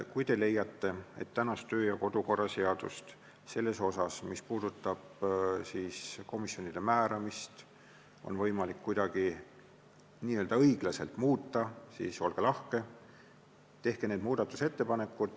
Kui te leiate, et kodu- ja töökorra seaduse seda osa, mis puudutab komisjonidesse määramist, on võimalik kuidagi õiglaselt muuta, siis olge lahke, tehke need muudatusettepanekud.